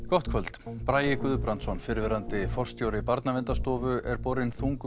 gott kvöld Bragi Guðbrandsson fyrrverandi forstjóri Barnaverndarstofu er borinn þungum